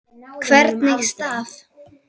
Hvernig staf